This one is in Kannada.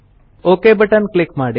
ಒಕ್ ಬಟನ್ ಕ್ಲಿಕ್ ಮಾಡಿ